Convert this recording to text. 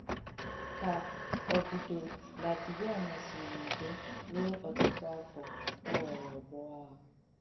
Ka òbùdọ̀ Làtvià nọ̀sìrī n’ùdọ̀ ruo ọ̀tùtụ àfọ́, ọ ghọ̀rọ̀ ọ̀gbọ̀ àghà.